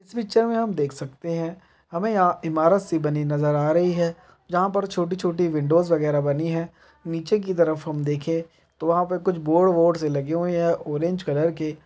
इस पिक्चर मे हम देख सकते हैं हमें यहाँ इमारत सी बनी नजर आ रही है जहां पर छोटी-छोटी विंडोस वगैरा बनी है नीचे की तरफ हम देखें तो वहां पर कुछ बोर्र्ड वोड्स से लगे हुए है ऑरेंज कलर के।